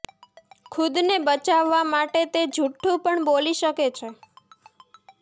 ખુદને બચાવવા માટે તે જુઠ્ઠું પણ બોલી શકે છે